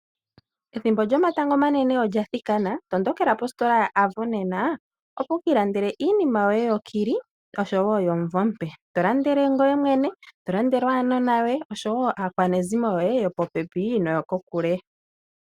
Ethimbo lyomatango omane olya thikana, tondokela positola yoAvo nena opo wu kiilandele iinima yoye yokili osho wo yomumvo omupe. Tolandele ngoye mwene, tolandele aanona, tolandele akwaanezimo yoye yo po pepi osho wo yo kokule.